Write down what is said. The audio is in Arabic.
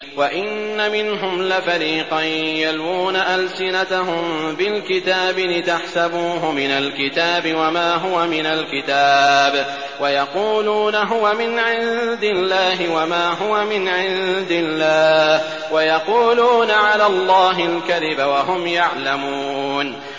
وَإِنَّ مِنْهُمْ لَفَرِيقًا يَلْوُونَ أَلْسِنَتَهُم بِالْكِتَابِ لِتَحْسَبُوهُ مِنَ الْكِتَابِ وَمَا هُوَ مِنَ الْكِتَابِ وَيَقُولُونَ هُوَ مِنْ عِندِ اللَّهِ وَمَا هُوَ مِنْ عِندِ اللَّهِ وَيَقُولُونَ عَلَى اللَّهِ الْكَذِبَ وَهُمْ يَعْلَمُونَ